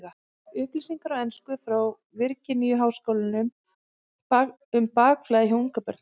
Upplýsingar á ensku frá Virginíu-háskóla um bakflæði hjá ungbörnum.